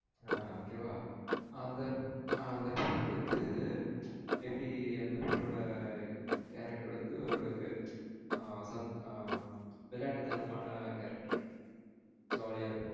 ஆஹ்ன் okay வா அந்த ஆஹ்ன் அந்த பொண்ணு வந்து எப்டி அந்த பொண்ணோட character வந்து ஓரளவுக்கு விளையாட்டுத்தனமான character jolly ஆ இருப்பா.